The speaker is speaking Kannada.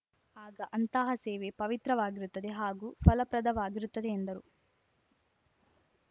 ಆಗ ಅಂತಹ ಸೇವೆ ಪವಿತ್ರವಾಗಿರುತ್ತದೆ ಹಾಗೂ ಫಲಪ್ರದವಾಗಿರುತ್ತದೆ ಎಂದರು